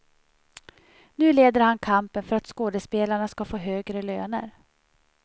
Nu leder han kampen för att skådespelarna ska få högre löner.